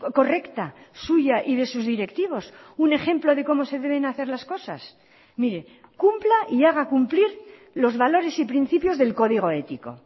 correcta suya y de sus directivos un ejemplo de cómo se deben hacer las cosas mire cumpla y haga cumplir los valores y principios del código ético